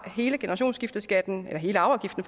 hele generationsskifteskatten ja hele arveafgiften